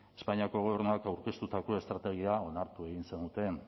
espainiako gobernuak aurkeztutako estrategia onartu egin zenuten